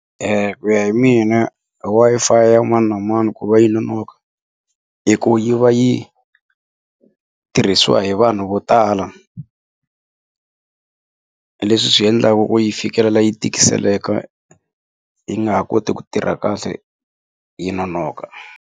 ku ya hi mina Wi-Fi ya mani na mani ku va yi nonoka i ku yi va yi tirhisiwa hi vanhu vo tala leswi swiendlaku ku yi fikelela yi tikiseleka yi nga ha koti ku tirha kahle yi nonoka.